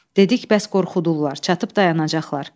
Dedik bəs qorxudurlar, çatıb dayanacaqlar.